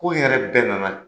Ko in yɛrɛ bɛ nana